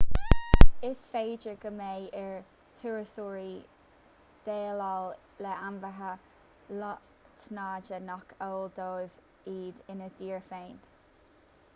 is féidir go mbeidh ar thurasóirí déileáil le ainmhithe lotnaide nach eol dóibh iad ina dtír féin